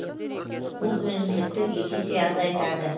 бұл өнімділікті екі есе азайтады